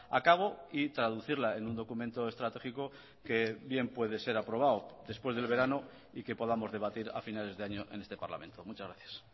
a cabo y traducirla en un documento estratégico que bien puede ser aprobado después del verano y que podamos debatir a finales de año en este parlamento muchas gracias